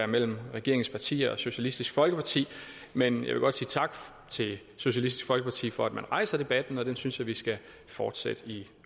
mellem regeringens partier og socialistisk folkeparti men jeg vil godt sige tak til socialistisk folkeparti for at rejse debatten og jeg synes vi skal fortsætte den i